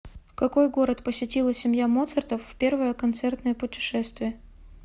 какой город посетила семья моцартов в первое концертное путешествие